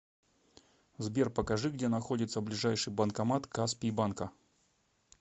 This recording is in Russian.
сбер покажи где находится ближайший банкомат каспий банка